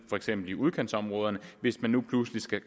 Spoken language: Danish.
for eksempel i udkantsområderne hvis man nu pludselig skal